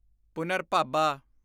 ਪੁਨਰਭਾਬਾ